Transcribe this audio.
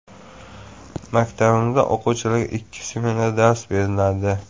Maktabimizda o‘quvchilarga ikki smenada dars beriladi.